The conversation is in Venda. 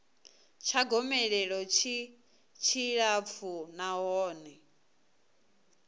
tsha gomelelo tshi tshilapfu nahone